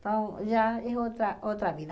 Então já é outra outra vida.